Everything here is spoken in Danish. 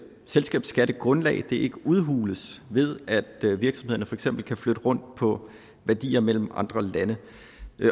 selskabsskattegrundlag ikke udhules ved at virksomhederne for eksempel kan flytte rundt på værdier mellem andre lande